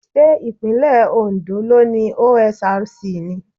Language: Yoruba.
Ṣé ìpínlẹ̀ Ondo ló ni OSRC ni?